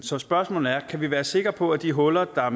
så spørgsmålet er kan vi være sikre på at de huller der